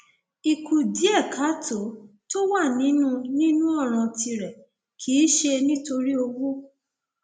ìkùdíẹkáàtó tó wà nínú nínú ọràn tìrẹ kì í ṣe nítorí owó